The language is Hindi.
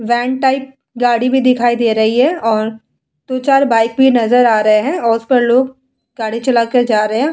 वेन टाइप गाड़ी भी दिखाई दे रही है और दो चार बाइक भी नजर आ रहे है और उस पर लोग गाड़ी चला कर जा रहे है |